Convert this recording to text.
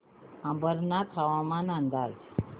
अंबरनाथ हवामान अंदाज